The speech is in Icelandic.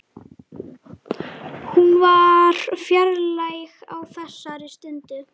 Hún var fjarlæg á þessari stundu.